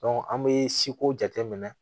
an bɛ si ko jateminɛ